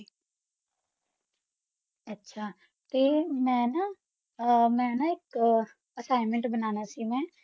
ਆਹ ਗ੍ਨ੍ਮੇੰਟ ਬਨਾਨਾ ਸੀ ਫ੍ਰੀ ਬੈਠੀ ਸੀ assigment ਤਾ ਮਾ ਨਾ